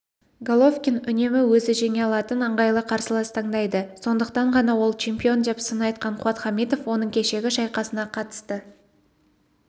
головкин үнемі өзі жеңе алатын ыңғайлы қарсылас таңдайды сондықтан ғана ол чемпион деп сын айтқан қуат хамитов оның кешегі шайқасына қатысты